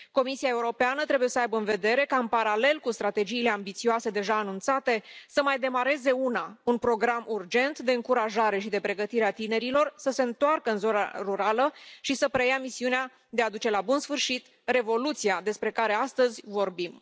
Comisia Europeană trebuie să aibă în vedere ca în paralel cu strategiile ambițioase, deja anunțate, să mai demareze una, un program urgent de încurajare și de pregătire a tinerilor să se întoarcă în zona rurală și să preia misiunea de a duce la bun sfârșit revoluția despre care astăzi vorbim.